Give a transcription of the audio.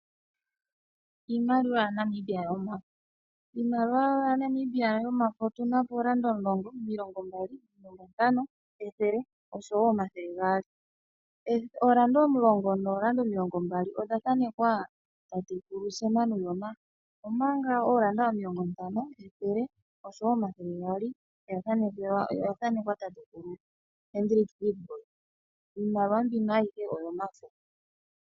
Iimaliwa yaNamibia yomafo. Iimaliwa yaNamibia yomafo otu na oodola omulongo, omilongombali, omilongontano, ethele noshowo omathele gaali. Odola omulongo noodola omilongombali odha thanekwa tatekulu Sam Nujoma, omanga oodola omilongontano, ethele noshowo omathele gaali okwa thanekwa tatekulu Hendrik Witbooi. Iimaliwa ayihe mbika oyomafo.